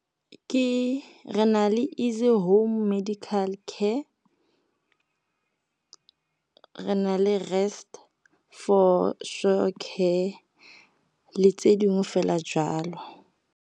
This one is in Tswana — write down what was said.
Ke re na le Easy Home Medical Care, re na le Rest For Sure Care le tse dingwe fela jalo.